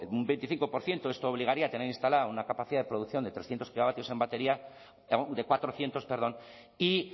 un veinticinco por ciento esto obligaría a tener instalado una capacidad de producción de trescientos gigavatios en batería de cuatrocientos perdón y